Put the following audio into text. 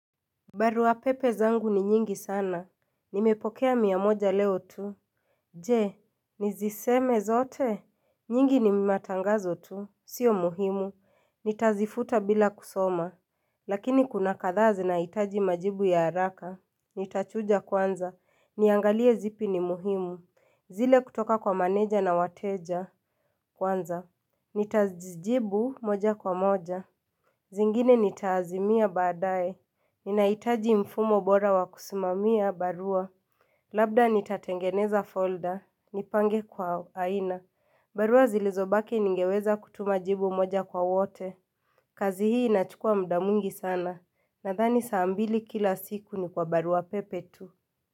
Barua pepe zangu ni nyingi sana Nimepokea miamoja leo tu Je, niziseme zote nyingi ni matangazo tu, sio muhimu Nitazifuta bila kusoma Lakini kuna kathaa zi na itaji majibu ya haraka Nitachuja kwanza, niangalie zipi ni muhimu zile kutoka kwa maneja na wateja kwanza Nitazijibu moja kwa moja zingine nitazimia baadae Ninaitaji mfumo bora wakusimamia barua Labda nitatengeneza folder, nipange kwa aina barua zilizobaki ningeweza kutuma jibu moja kwa wote kazi hii inachukua mda mwingi sana Nadhani saa mbili kila siku ni kwa barua pepe tu.